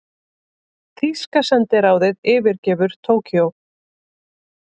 Þýska sendiráðið yfirgefur Tókýó